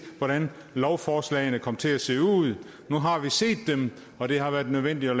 hvordan lovforslagene kom til se ud nu har vi set dem og det har været nødvendigt at